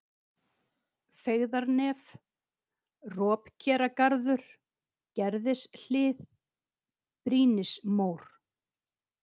Feigðarnef, Ropkeragarður, Gerðishlið, Brýnismór